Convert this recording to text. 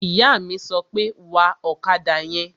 Ìyá mi sọ pé, "Wa ọ̀kadà yẹn!"